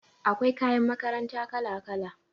Akwai kayan makaranta kala-kala